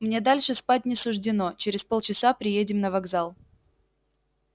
мне дальше спать не суждено через полчаса приедем на вокзал